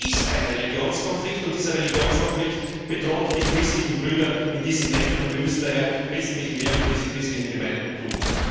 Es ist ein Religionskonflikt, und dieser Religionskonflikt bedroht die christlichen Brüder in diesen Ländern, und wir müssen daher wesentlich mehr für diese christlichen Gemeinden tun.